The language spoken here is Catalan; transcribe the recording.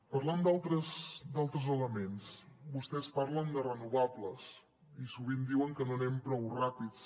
parlant d’altres elements vostès parlen de renovables i sovint diuen que no anem prou ràpids